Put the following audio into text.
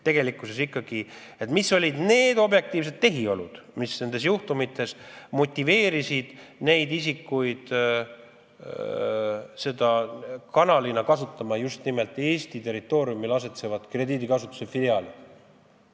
Mis ikkagi olid need objektiivsed tehiolud, mis motiveerisid teatud isikuid kanalina kasutama just nimelt selle krediidiasutuse Eesti territooriumil tegutsevat filiaali?